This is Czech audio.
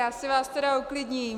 Já si vás tedy uklidním.